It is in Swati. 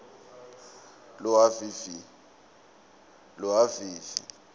lohhavivi